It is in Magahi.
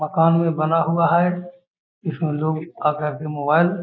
मकान भी बना हुआ है | इसमें लोग आकर के मोबाइल --